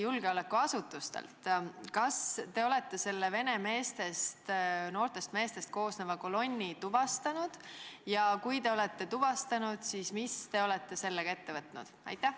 Kas te olete selle vene noortest meestest koosneva kolonni tuvastanud ja kui te olete tuvastanud, siis mis te olete sellega ette võtnud?